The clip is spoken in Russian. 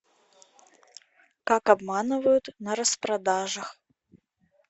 как обманывают на распродажах